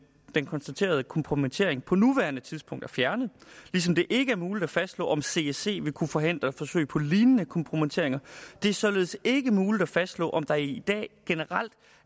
den konstaterede kompromittering på nuværende tidspunkt er fjernet ligesom det ikke er muligt at fastslå om csc vil kunne forhindre forsøg på lignende kompromitteringer det er således ikke muligt at fastslå om der i dag generelt